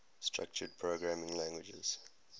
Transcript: structured programming languages